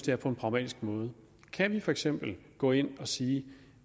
her på en pragmatisk måde kan vi for eksempel gå ind og sige